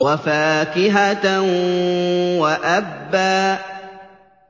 وَفَاكِهَةً وَأَبًّا